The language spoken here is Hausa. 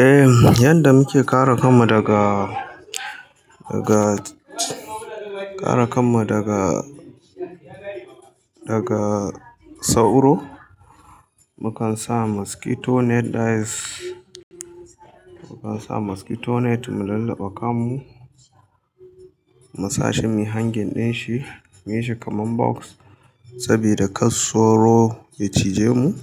Eh, yanda muke kare kan mu daga, daga, kara kan mu daga, daga sauro, mukan sa mosquito net, dais mukan sa mosquito net mu lullube kan mu, mu sa shi muyi hanging din shi, muyi shi kaman box sabida kar sauro ya cije mu.